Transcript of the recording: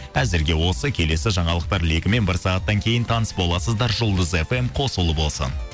әзірге осы келесі жаңалықтар легімен бір сағаттан кейін таныс боласыздар жұлдыз фм қосулы болсын